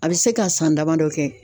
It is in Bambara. A bɛ se ka san damadɔ kɛ.